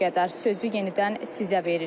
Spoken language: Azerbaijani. Sözü yenidən sizə veririk.